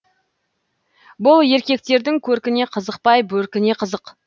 бұл еркектердің көркіне қызықпай бөркіне қызық